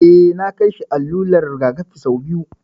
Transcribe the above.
Eh, na kai shi allular rigakafi sau biyu